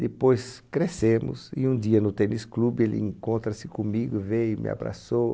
Depois crescemos e um dia no tênis clube ele encontra-se comigo, veio, me abraçou.